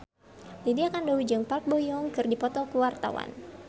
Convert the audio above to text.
Lydia Kandou jeung Park Bo Yung keur dipoto ku wartawan